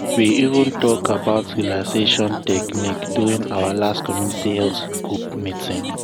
we even talk about relaxation technique during our last community health group meeting.